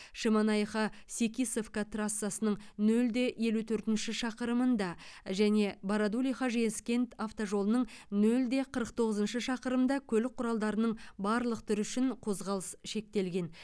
шемонаиха секисовка трассасының нөл де елу төртінші шақырымында және бородулиха жезкент автожолының нөл де қырық тоғызыншы шақырымында көлік құралдарының барлық түрі үшін қозғалыс шектелген